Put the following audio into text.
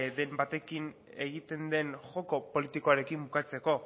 den batekin egiten den joko politikoarekin bukatzeko